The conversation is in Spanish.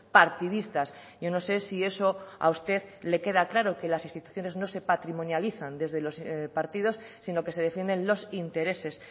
partidistas yo no sé si eso a usted le queda claro que las instituciones no se patrimonializan desde los partidos sino que se defienden los intereses